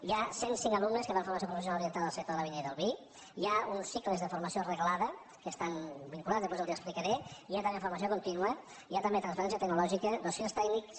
hi ha cent cinc alumnes que fan formació professional orientada al sector de la vinya i del vi hi ha uns cicles de formació reglada que estan vinculats després els ho explicaré hi ha també formació continua i hi ha també transferència tecnològica dossiers tècnics